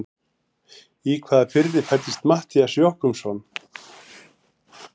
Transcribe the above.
Í hvaða firði fæddist Matthías Jochumsson?